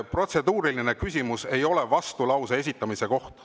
Protseduuriline küsimus ei ole vastulause esitamiseks.